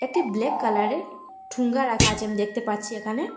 একটি ব্ল্যাক কালারের ঠোঙ্গা রাখা আছে আমি দেখতে পাচ্ছি এখানে।